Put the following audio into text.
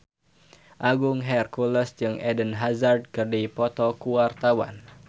Agung Hercules jeung Eden Hazard keur dipoto ku wartawan